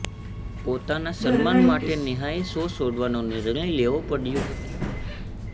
પોતાના સન્માન માટે નેહાએ શો છોડવાનો નિર્ણય લેવા પડ્યો હતો